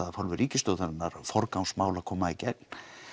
af hálfu ríkisstjórnarinnar forgangsmál að koma í gegn